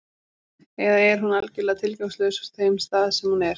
Eða er hún algjörlega tilgangslaus á þeim stað sem hún er?